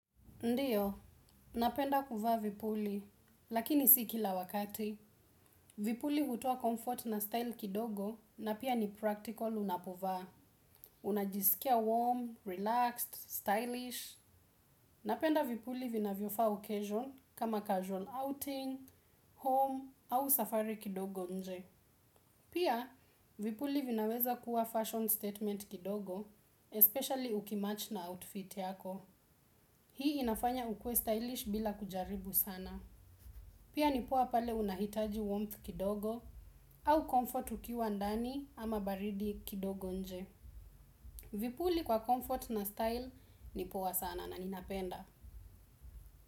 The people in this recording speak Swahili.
Ndiyo napenda kuvaa vipuli lakini siyo kila wakati. Vipuli hutoa comfort na style kidogo na piya ni practical unapovaa. Unajisikia warm, relaxed, stylish. Napenda vipuli vinavyo faa ocation, kama casual outing, home, au safari kidogo inje. Piya, vipuli vinaweza kuwa fashion statement kidogo, especially ukimatch na outfit yako. Hii inafanya ukuwe stylish bila kujaribu sana. Piya ni poa pale unahitaji warmth kidogo au comfort ukiwa ndani ama baridi kidogo inje. Vipuli kwa comfort na style nipowa sana na ninapenda.